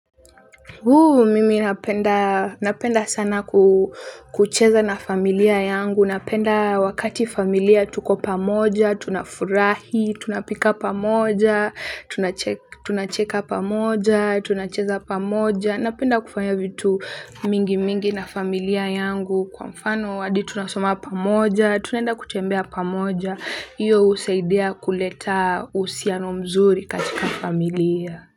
Uuuu, mimi napenda napenda sana kucheza na familia yangu, napenda wakati familia tuko pamoja, tunafurahi, tunapika pamoja, tunacheka tunacheka pamoja, tunacheza pamoja, napenda kufanya vitu mingi mingi na familia yangu kwa mfano hadi tunasoma pamoja, tunaenda kutembea pamoja, iyo husaidia kuleta uhusiano mzuri katika familia.